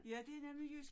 Ja det nemlig jysk